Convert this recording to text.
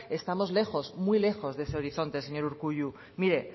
estamos lejos muy lejos de ese horizonte señor urkullu mire